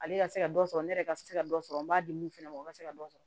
Ale ka se ka dɔ sɔrɔ ne yɛrɛ ka se ka dɔ sɔrɔ n b'a di mun fana ma o ka se ka dɔ sɔrɔ